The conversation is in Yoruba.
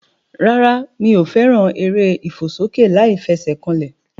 Rárá mi ò fẹ́ràn eré ìfòsókè láìfesèkanlè